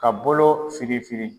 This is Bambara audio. Ka boloo firin firin